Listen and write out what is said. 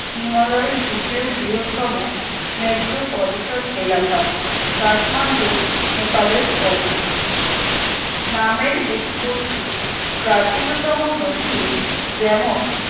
হিমালয়ের দ্বিতীয় বৃহত্তম Metropolitan এলাকা কাঠমান্ডু নেপালের পরে নামের উৎপত্তি প্রাচীনতম নথি যেমন